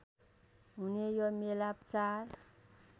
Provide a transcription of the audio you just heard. हुने यो मेला चार